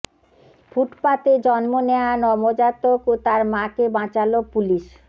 ফুটপাতে জন্ম নেয়া নবজাতক ও তার মাকে বাঁচাল পুলিশ